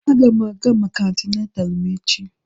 Aga m aga maka antenatal m echi